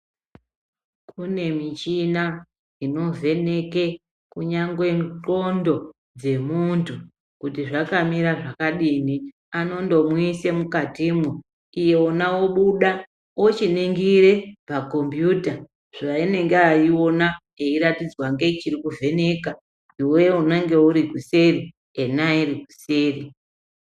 Kune michina inovheke kunyangwe nxondo dzemuntu kuti zvakamira zvakadini. Anondomuise mwukatimwo ,yena obuda ochiningire pakombiyuta paanenge eiona eiratidzwa ngechirokuvheneka. Iwewei unenge urikuseri ena arikusei.